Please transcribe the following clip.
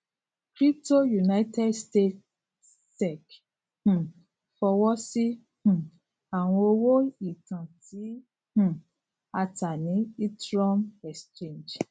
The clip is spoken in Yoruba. crypto united states sec um fọwọsi um awọn owo itan ti um a ta ni ethereum exchange